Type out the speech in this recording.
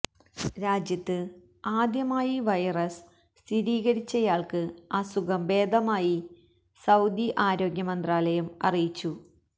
രാജ്യത്ത് ആദ്യമായി വൈറസ് സ്ഥിതീകരിച്ചയാൾക്ക് അസുഖം ഭേദമായതായി സഊദി ആരോഗ്യ മന്ത്രാലയം അറിയിച്ചു